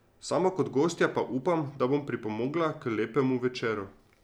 Sama kot gostja pa upam, da bom pripomogla k lepemu večeru.